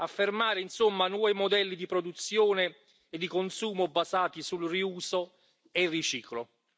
Affermare, insomma, nuovi modelli di produzione e di consumo basati sul riuso e il riciclo.